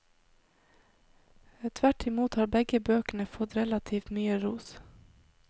Tvert imot har begge bøkene fått relativt mye ros.